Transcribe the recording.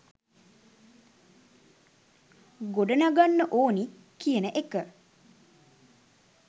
ගොඩනගන්න ඕනි කියන එක